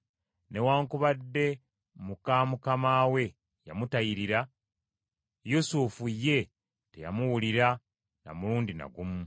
Newaakubadde muka mukama we yamutayirira, Yusufu ye teyamuwulira na mulundi na gumu.